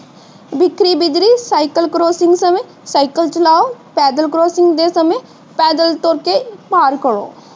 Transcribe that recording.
ਬਿਖਰੀ ਬਿਜਰੀ ਸਮੇ ਸਾਈਕਲ ਚਲਾਓ, ਪੈਦਲ ਕਰਾਸਿੰਗ ਦੇ ਸਮੇ ਪੈਦਲ ਤੁਰ ਕੇ ਪਾਰ ਕਰੋ।